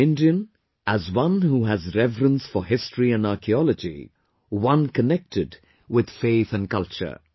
as an Indian, as one who has reverence for history and archaeology, one connected with faith and culture